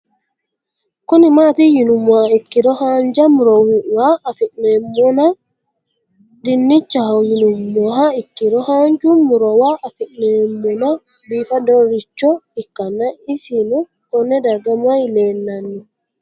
Kuni mati yinumoha ikiro hanja murowa afine'mona dinichaho yinumoha ikiro hanja murowa afine'mona bifadoricho ikana isino Kone darga mayi leelanno